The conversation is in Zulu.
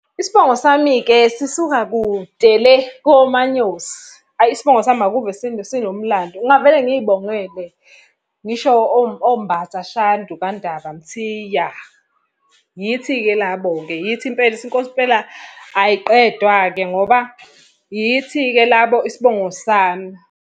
Isibongo sami-ke sisuka kude le koManyosi. Hhayi isibongo sami akuve sinomlando ngingavele ngiy'bongele. Ngisho oMbatha Shandu kaNdaba Mthiya. Yithi-ke labo-ke, yithi Impela ukuthi inkosi impela ayiqedwa-ke ngoba yithi-ke labo isibongo sami.